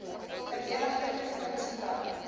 verenigde provinsie bou